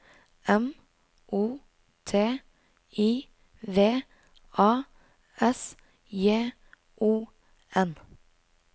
M O T I V A S J O N